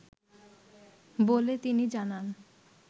বলে তিনি জানান